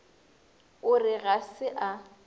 o re ga se a